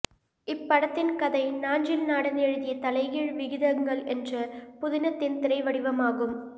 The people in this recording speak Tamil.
இப்படத்தின் கதை நாஞ்சில் நாடன் எழுதிய தலைகீழ் விகிதங்கள் என்ற புதினத்தின் திரை வடிவமாகும்